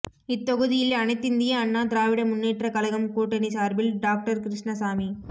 இத்தொகுதியில் அனைத்திந்திய அண்ணா திராவிட முன்னேற்றக் கழகம் கூட்டணி சார்பில் டாகடர் கிருஷ்ணசாமி